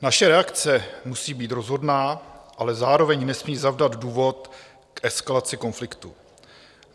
Naše reakce musí být rozhodná, ale zároveň nesmí zavdat důvod k eskalaci konfliktu.